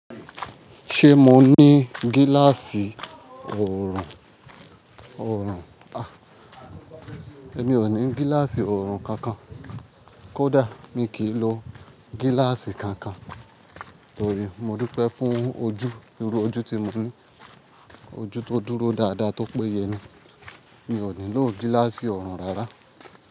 Ṣé mo ní gíláàsì ọ̀ọ̀rùn? Ọ̀ọ̀rùn, a! Èmi ò ní gíláàsì ọ̀ọ̀rùn kankan. Kódà mi kì í lo gíláàsì kankan torí mo dúpẹ́ fún ojú, irú ojú tí mo ní. Ojú tó dúró dáadáa tó péye ni. Mi ò ní lò gíláàsì ọ̀ọ̀rùn rárá.